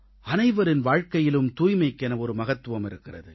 அனைவரின் வாழ்க்கையிலும் தூய்மைக்கென ஒரு மகத்துவம் இருக்கிறது